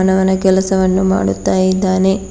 ಅವನು ಅವನ ಕೆಲವನ್ನು ಮಾಡುತ್ತಾ ಇದ್ದಾನೆ.